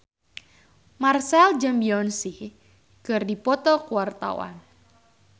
Marchell jeung Beyonce keur dipoto ku wartawan